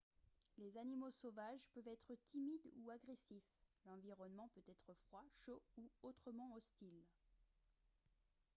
les animaux sauvages peuvent être timides ou agressifs l'environnement peut être froid chaud ou autrement hostile